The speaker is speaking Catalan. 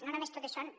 no només totes són